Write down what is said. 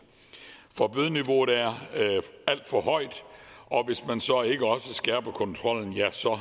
for bødeniveauet er alt for højt og hvis man så ikke også skærper kontrollen ja så